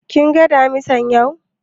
Kin ga Damisan yau?